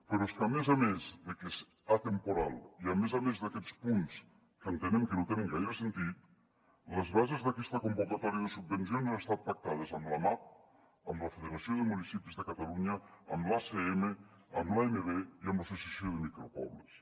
però és que a més a més de que és atemporal i a més a més d’aquests punts que entenem que no tenen gaire sentit les bases d’aquesta convocatòria de subvencions han estat pactades amb l’amap amb la federació de municipis de catalunya amb l’acm amb l’amb i amb l’associació de micropobles